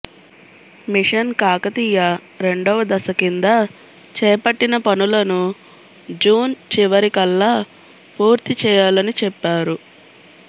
machine Kakatiya రండవ దశ కింద చేపట్టిన పనులను జూన్ చివరి కల్లా పూర్తి చేయాలని చెప్పారు